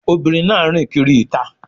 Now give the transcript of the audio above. Obìnrin náà rìn kiri ìta.